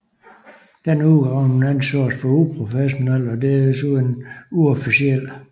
Denne udgravning ansås for uprofessionel og desuden uofficiel